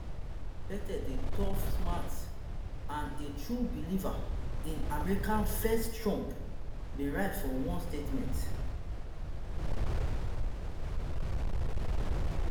pete dey tough smart and a true believer in america first trump bin write for one statement